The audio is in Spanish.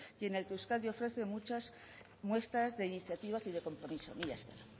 y en el que euskadi ofrece muchas muestras de iniciativas y de compromiso mila esker